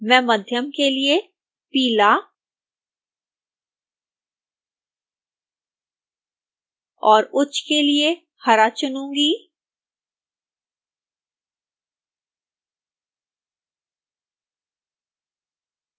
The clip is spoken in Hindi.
मैं मध्यम के लिए पीला और उच्च के लिए हरा चुनूंगी